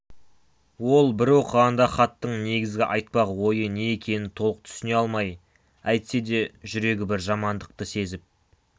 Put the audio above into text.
ол бір оқығанда хаттың негізгі айтпақ ойы не екенін толық түсіне алмай әйтсе де жүрегі бір жамандықты сезіп